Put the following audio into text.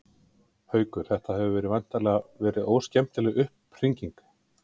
Haukur: Þetta hefur væntanlega verið óskemmtileg upphringing?